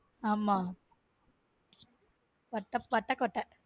ஆம வட்டக்கோட்டை.